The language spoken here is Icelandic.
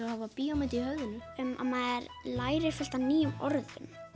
að hafa bíómynd í höfðinu að maður lærir fullt af nýjum orðum